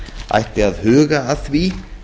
ætti að huga að því